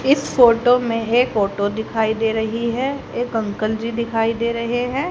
इस फोटो में एक ऑटो दिखाई दे रही है एक अंकल जी दिखाई दे रहे हैं।